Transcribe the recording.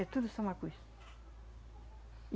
É tudo só uma coisa.